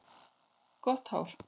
Gott hár.